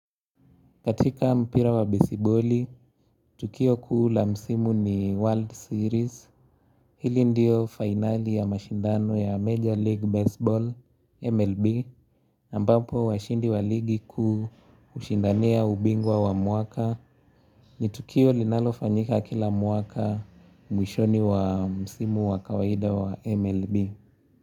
Katika mpira wa besiboli, Tukio kuula msimu ni World Series Hili ndiyo finali ya mashindano ya Major League Baseball MLB ambapo washindi wa ligi kuu hushindania ubingwa wa mwaka Nitu kio linalofanyika kila mwaka mwishoni wa msimu wa kawaida wa MLB.